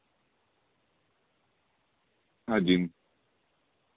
один